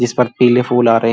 इस पर पीले फूल आ रहे